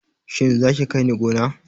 Shin za ka kai ni gona?